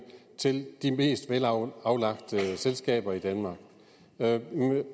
til de mest velaflagte selskaber i danmark lad